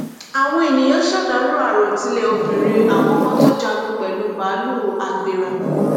àwọn èèyàn ṣèdàrọ àròtilé obìnrin àkọkọ tó jagun pẹlú báàlúù agbera